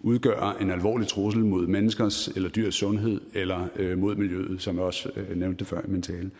udgøre en alvorlig trussel mod menneskers eller dyrs sundhed eller mod miljøet som jeg også nævnte det før i min tale